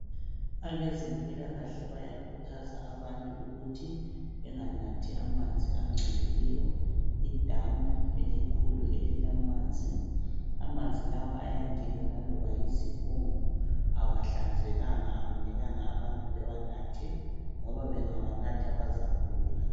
Abezempilakahle bayakhuthaza abantu ukuthi benganathi amanzi angcolileyo. Idamu elikhulu elilamanzi ,amanzi lawa ayangena laloba yizibungu .Awahlanzekanga akumelanga abantu bewanathe , ngoba bengawanatha bazagula.